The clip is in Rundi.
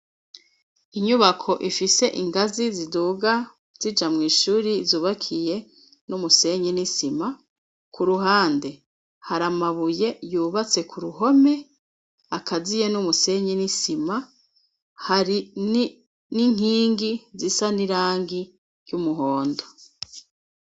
Inyubako ifise ingazi ziduga zija mw'ishure zubakiye n'umusenyi n'isima, ku ruhande hari amabuye yubatse ku ruhome akaziye n'umusenyi n'isima, hari n'inkingi zisa n'irangi ry'umuhondo.